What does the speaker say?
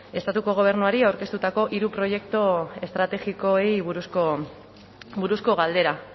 estatuko gobernuari aurkeztutako hiru proiektu estrategikoei buruzko galdera